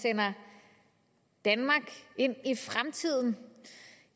sender danmark ind i fremtiden